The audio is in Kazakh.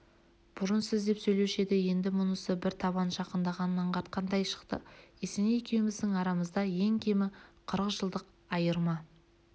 бұрын сіз деп сөйлеуші еді мұнысы бір табан жақындағанын аңғартқандай шықты есеней екеуміздің арамызда ең кемі қырық жылдық айырма